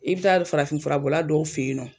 I bi taa farafin furabɔla dɔw fe yen nɔ